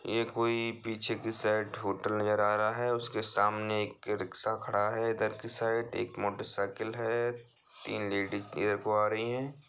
ये कोई पीछे की साइड होटल नजर आ रहा है उसके सामने एक रिक्शा खड़ा है इधर की साइड एक मोटर साइकिल है। तीन लेडीज इधर को आ रही हैं।